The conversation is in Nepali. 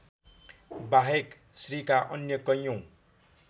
बाहेक श्रीका अन्य कैयौँ